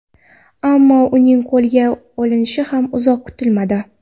Ammo uning qo‘lga olinishi ham uzoq kutilmadi.